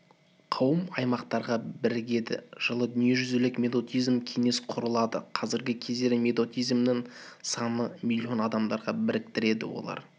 қауым аймақтарға бірігеді жылы дүниежүзілік методизмдік кеңес құрылады қазіргі кездегі методизмдің саны млн адамды біріктіреді олар